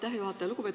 Aitäh, juhataja!